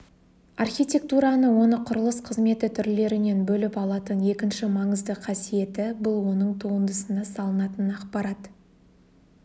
архитектураны оны құрылыс қызметі түрлерінен бөліп алатын екінші маңызды қасиеті бұл оның туындысына салынатын ақпарат